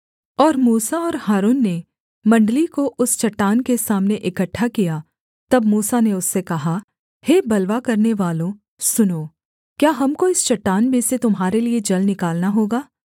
और मूसा और हारून ने मण्डली को उस चट्टान के सामने इकट्ठा किया तब मूसा ने उससे कहा हे बलवा करनेवालों सुनो क्या हमको इस चट्टान में से तुम्हारे लिये जल निकालना होगा